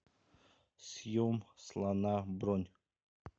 съем слона бронь